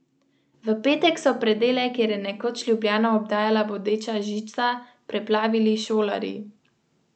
In denar je imel!